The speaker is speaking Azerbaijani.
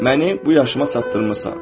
Məni bu yaşıma çatdırmısan.